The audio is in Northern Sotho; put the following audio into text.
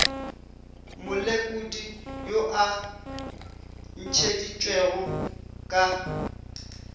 molekodi yo a ntšheditšwego ka